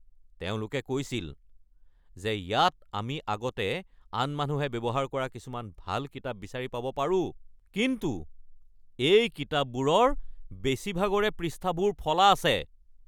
তেওঁলোকে কৈছিল যে ইয়াত আমি আগতে আন মানুহে ব্যৱহাৰ কৰা কিছুমান ভাল কিতাপ বিচাৰি পাব পাৰোঁ কিন্তু এই কিতাপবোৰৰ বেছিভাগৰে পৃষ্ঠাবোৰ ফলা আছে।